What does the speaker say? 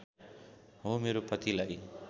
हो मेरो पतिलाई